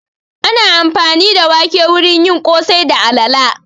Ana amfani da wake wurin yin ƙosai da alala